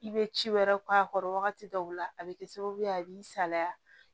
I bɛ ci wɛrɛ k'a kɔrɔ wagati dɔw la a bɛ kɛ sababu ye a b'i salaya